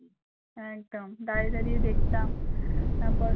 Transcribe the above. একদম দাঁড়িয়ে দাঁড়িয়ে দেখতাম তারপর